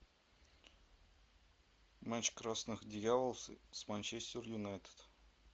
матч красных дьяволов с манчестер юнайтед